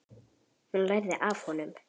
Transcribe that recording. Hún lærði af honum.